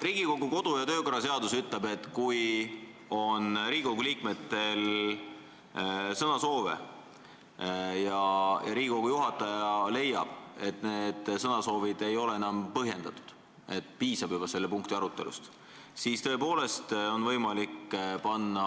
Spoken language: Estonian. Riigikogu kodu- ja töökorra seadus ütleb, et kui Riigikogu liikmetel on sõnasoove ja istungi juhataja leiab, et need sõnasoovid ei ole enam põhjendatud, et piisab juba selle punkti arutelust, siis tõepoolest on võimalik panna